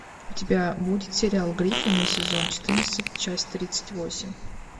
у тебя будет сериал гриффины сезон четырнадцать часть тридцать восемь